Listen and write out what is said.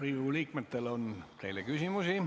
Riigikogu liikmetel on teile küsimusi.